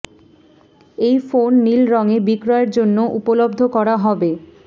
এই ফোন নীল রঙে বিক্রয়ের জন্য উপলব্ধ করা হবে